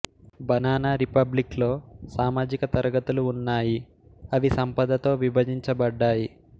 banana republic లో సామాజిక తరగతులు ఉన్నాయి అవి సంపదతో విభజించబడ్డాయి